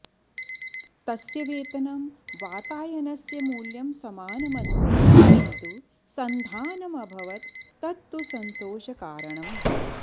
तस्य वेतनं वातायनस्य मूल्यं समानमस्ति किन्तु सन्धानमभवत् तत्तु सन्तोषकारणम्